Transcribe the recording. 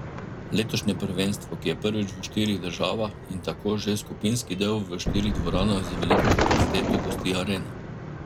Letošnje prvenstvo, ki je prvič v štirih državah in tako že skupinski del v štirih dvoranah z veliko kapaciteto, gosti Arena.